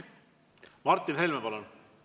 Martin Helme, palun!